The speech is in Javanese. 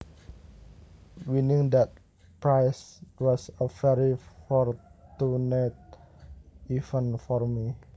Winning that prize was a very fortunate event for me